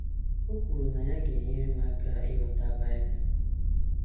O kwuru na ya ga - enyere m aka ịghọta Bible.